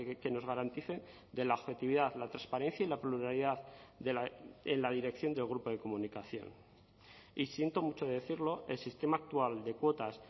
que nos garanticen de la objetividad la transparencia y la pluralidad en la dirección del grupo de comunicación y siento mucho decirlo el sistema actual de cuotas